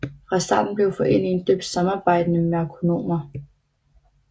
Fra starten blev foreningen døbt Samarbejdende Merkonomer